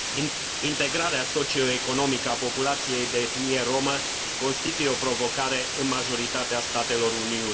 Integrarea socioeconomică a populației de etnie rromă constituie o provocare în majoritatea statelor Uniunii.